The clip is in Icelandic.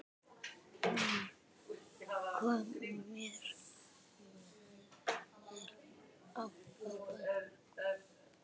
Hún kom mér á óvart.